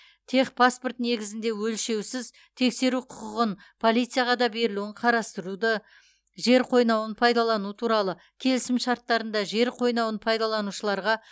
техпаспорт негізінде өлшеусіз тексеру құқығын полицияға да берілуін қарастыруды жер қойнауын пайдалану туралы келісім шарттарында жер қойнауын пайдаланушыларға